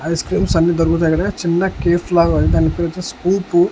Ice creams అన్నీ దొరుకుతాయిక్కడ చిన్న కేఫ్ లాగా ఉంది దాని పేరొచ్చేసి కూపు .